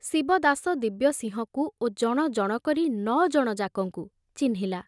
ଶିବଦାସ ଦିବ୍ୟସିଂହକୁ ଓ ଜଣ ଜଣ କରି ନ ଜଣ ଯାକଙ୍କୁ ଚିହ୍ନିଲା।